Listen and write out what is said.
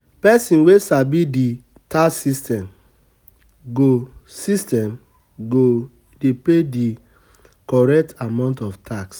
Pesin wey sabi di tax systems go, system go dey pay di correct amount of tax